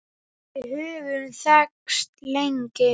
Við höfum þekkst lengi.